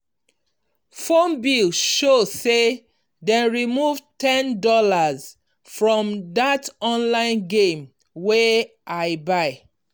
phone bill show say dem remove ten dollars for that online game wey i buy.